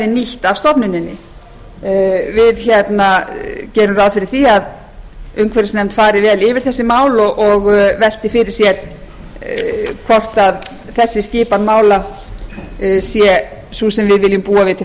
nýtt af stofnuninni við gerum ráð fyrir að umhverfisnefnd fari vel yfir þau mál og velti fyrir sér hvort þessi skipan mála sé sú sem við viljum búa við til